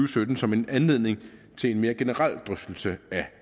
sytten som en anledning til en mere generelt drøftelse af